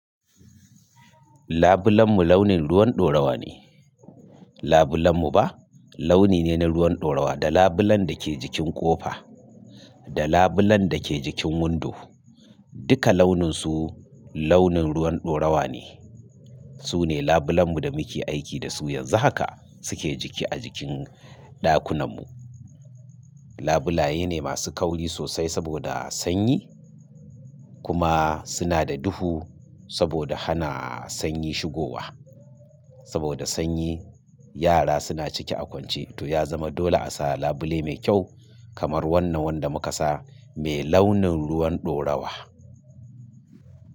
Labulen mu launin ruwan dorawa ne. Labulen mu ba launi ne na ruwan ɗorawa. Da labulen da ke jikin ƙofa da labulen da ke jikin windo, duka launin su launin ruwan ɗorawa ne. Su ne labulen mu da muke aiki da su yanzu haka suke jiki a jikin ɗakunan mu. Labulaye ne masu kauri sosai saboda sanyi kuma suna da duhu saboda hana sanyi shigowa. Saboda sanyi, yara suna ciki a kwance to ya zama dole a sa labule mai kyau kamar wannan wanda muka sa mai launin ruwan ɗorawa.